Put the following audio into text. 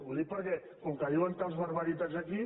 ho dic perquè com que diuen tals barbaritats aquí